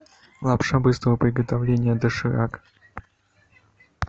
лапша быстрого приготовления доширак